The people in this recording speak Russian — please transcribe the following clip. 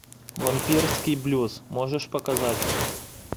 вампирский блюз можешь показать